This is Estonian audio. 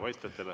Aitäh teile!